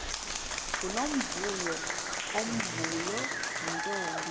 ngunomvuyo omvuyo yintombi